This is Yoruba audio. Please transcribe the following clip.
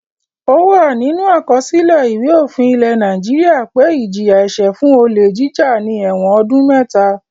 Ó wà nínú àkọsílẹ̀ Ìwé-òfin ilẹ̀ Nàìjíríà pé ìjìyà-ẹ̀ṣẹ̀ fún olè jíjà ni ẹ̀wọ̀n ọdún mẹ́ta.